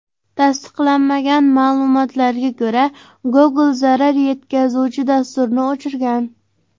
Tasdiqlanmagan ma’lumotlarga ko‘ra, Google zarar yetkazuvchi dasturni o‘chirgan.